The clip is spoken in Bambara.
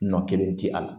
Nɔ kelen tɛ a la